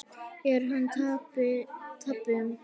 Er hann tappi?